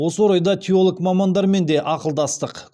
осы орайда теолог мамандармен де ақылдастық